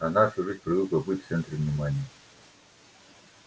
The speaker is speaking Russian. а она всю жизнь привыкла быть в центре внимания